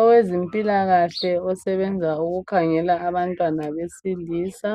Owezempilakahle osebenza ukukhangela abantwana besilisa